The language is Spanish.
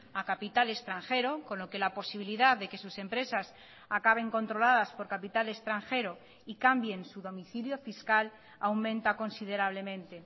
a capital extranjero con lo que la posibilidad de que sus empresas acaben controladas por capital extranjero y cambien su domicilio fiscal aumenta considerablemente